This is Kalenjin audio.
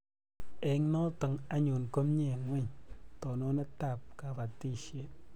Eng' notok anyun ko mie ngweny tononet ab kabatishet